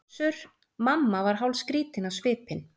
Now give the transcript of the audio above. Össur-Mamma var hálfskrýtinn á svipinn.